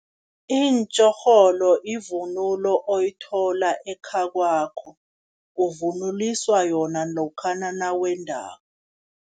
Iintjorholo ivunulo oyithola ekhakwakho, uvunuliswa yona lokhana nawendako.